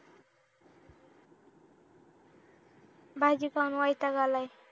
भाजी खाऊन वैताग आलाय